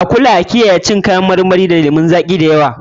A kula a kiyaye cin ƴaƴan marmarin lemun zaƙi da yawa.